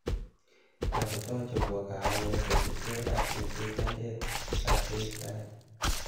toreto chobwo kahawek kosubke ak lekechandet atkei tai